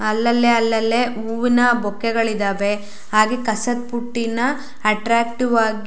ಅಲ್ಲಲ್ಲೆ ಅಲ್ಲಲ್ಲೆ ಹೂವಿನ ಬೊಕ್ಕೆಗಳಿದವೆ ಹಾಗೆ ಕಸದ್ ಬುಟ್ಟಿನ ಅಟ್ಟ್ರಾಕ್ಟಿವ್ ಆಗಿ--